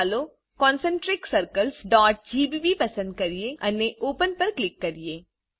ચાલો ConcentricCirclesggbપસંદ કરીએ અને ઓપન પર ક્લિક કરીએ